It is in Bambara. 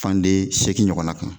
Fan den segin ɲɔgɔnna kan